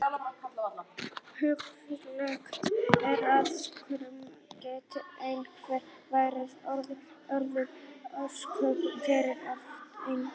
Hugsanlegt er að sykurneysla geti einnig verið óæskileg af öðrum orsökum fyrir ákveðna einstaklinga.